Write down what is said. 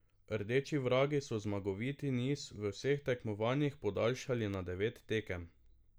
Rdeči vragi so zmagoviti niz v vseh tekmovanjih podaljšali na devet tekem.